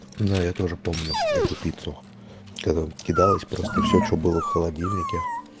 да я тоже помню эту пиццу когда кидалось просто все что было в холодильнике